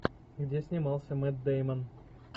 где снимался мэтт дэймон